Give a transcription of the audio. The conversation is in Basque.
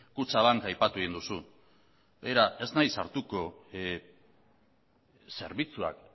kutxabank aipatu egin duzu begira ez naiz sartuko zerbitzuak